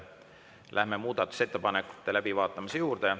Läheme muudatusettepanekute läbivaatamise juurde.